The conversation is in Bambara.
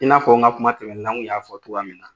I n'a fɔ n ka kuma tɛmɛnen na n kun y'a fɔ togoyamin na